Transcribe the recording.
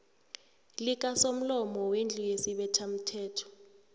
likasomlomo wendlu yesibethamthetho